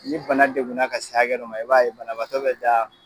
Ni bana degun ka se hakɛ dɔ ma, i b'a ye banabaatɔ bɛ da.